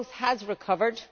Growth has recovered.